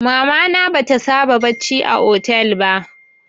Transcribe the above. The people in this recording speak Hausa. Mama na bata saba bacci a hotel ba